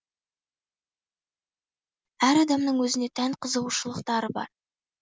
әр адамның өзіне тән қызығушылықтары бар